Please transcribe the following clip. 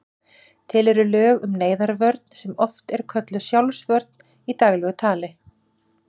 Til eru lög um neyðarvörn sem oft er kölluð sjálfsvörn í daglegu tali.